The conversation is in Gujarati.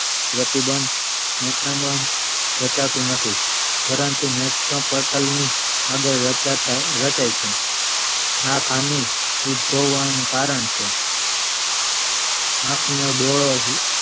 પ્રતિબંધ રચાતું નથી પરંતુ નેત્ર પટલ ની આગળ રાચતા ~રચાઈ છે આ ખામી ઉદ્ભવવાનું નું કારણ છે આંખનો ડોળો